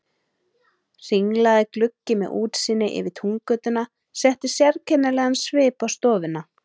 Hringlaga gluggi með útsýni yfir Túngötuna setti sérkennilegan svip á stofuna.